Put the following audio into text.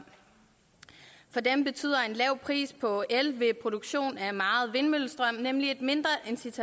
for dem betyder lav pris på el ved produktion af meget vindmøllestrøm nemlig et mindre